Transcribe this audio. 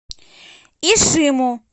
ишиму